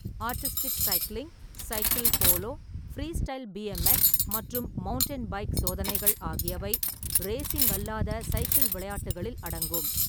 Artistic cycling, cycle polo, freestyle B M X மற்றும் mountain bike சோதனைகள் ஆகியவை racing அல்லாத சைக்கிள் விளையாட்டுகளில் அடங்கும்.